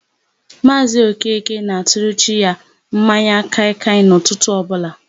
Maazị Okeke na-atụrụ chi ya mmanya kaịkaị n'ụtụtụ ọbụla.